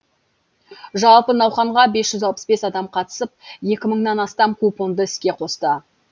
жалпы науқанға бес жүз алпыс адам қатысып екі мыңнан астам купонды іске қосты